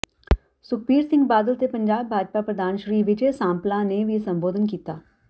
ਸੁਖਬੀਰ ਸਿੰਘ ਬਾਦਲ ਤੇ ਪੰਜਾਬ ਭਾਜਪਾ ਪ੍ਰਧਾਨ ਸ੍ਰੀ ਵਿਜੇ ਸਾਂਪਲਾ ਨੇ ਵੀ ਸੰਬੋਧਨ ਕੀਤਾ